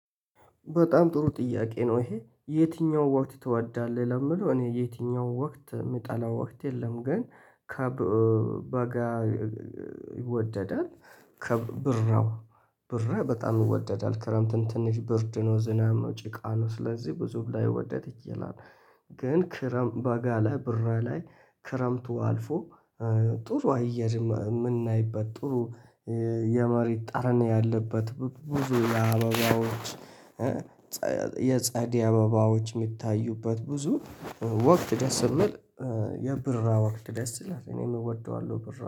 በጣም ጥሩ ጥያቄ? ነው ይሄ የትኛው ወቅት ትወዳለህ ለሚለው እኔ የትኛው ወቅት የምጠላው ወቅት የለም ግን ከበጋ ይወደዳል። ከብራው ብራ በጣም ይወደዳል ክረምትን ትንሽ ብርድ ነው ዝናብ ነው ጭቃ ነው ስለዚህ ብዙ ላይወደድ ይችላል። ግን ክረምት በጋለ ብራ ላይ ክረምቱ አልፎ ጥሩ አየርም የምናይበት ጥሩ የመሬት ጣርን ያለበት ብዙ የአበባዎች ጸ የጸደይ አበባዎች የሚታዩበት ብዙ ወቅት ደስ ይምል የብራ ወቅት ደስ ይላል። እኔም እወደዋለሁ ብራ